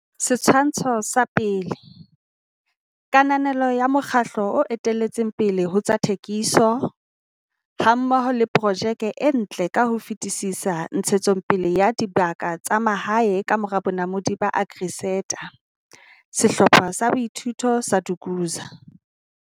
Setshwantsho sa 1. Kananelo ya mokgatlo o etelletseng pele ho tsa thekiso, hammoho le projeke e ntle ka ho fetisisa ntshetsopeleng ya dibaka tsa mahae ka mora bonamodi ba AgriSeta. Sehlopha sa Boithuto sa Dukuza.